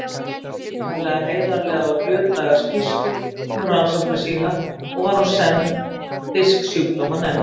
Hann gaf ítarlega, heiðarlega og hlutlæga skýrslu um rannsóknir sínar og var hún send Fisksjúkdómanefnd